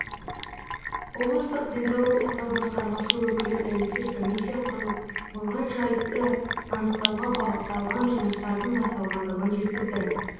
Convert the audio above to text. облыстық денсаулық сақтау басқармасы өкілі тәуелсіз комиссия құрылып болған жайтты анықтауға бағытталған жұмыстардың басталғандығын жеткізді